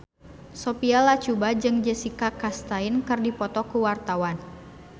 Sophia Latjuba jeung Jessica Chastain keur dipoto ku wartawan